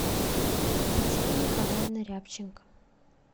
татьяна николаева рябченко